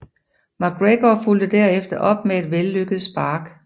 McGregor fulgte derefter op med et vellykket spark